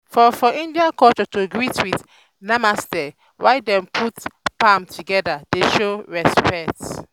for for india culture to greet with "namaste" while dem put palms together dey show respect.